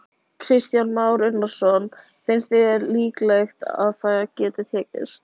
Kristján Már Unnarsson: Finnst þér líklegt að það geti tekist?